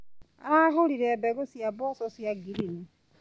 Aragũrire mbegũ cia mboco cia ngirini.